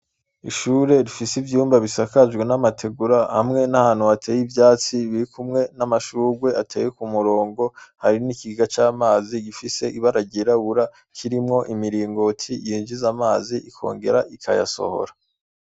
Ishure rifise ivyumba bisakajwe n'amategura hamwe n'ahantu hateye ivyatsi birikumwe n'amashurwe ateye ku murongo hari n'ikiga c'amazi gifise ibara ryirabura kirimwo imiringoti yinjiza amazi ikongera ikayasohora.